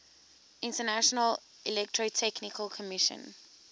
international electrotechnical commission